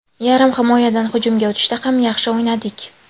Yarim himoyadan hujumga o‘tishda ham yaxshi o‘ynadik.